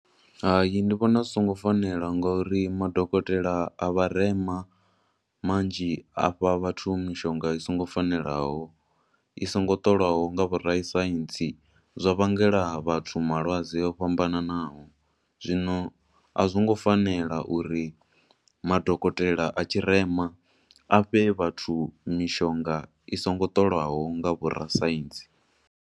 Hayi, ndi vhona zwi songo fanela nga uri madokotela a vharema manzhi a fha vhathu mishonga i songo fanelaho, i songo ṱolwaho nga vho vhorasaintsi, zwa vhangela vhathu malwadze o fhambananaho. Zwino a zwi ngo fanela uri madokotela a tshirema a fhe vhathu mishonga i songo ṱolwaho nga vhorasaintsi.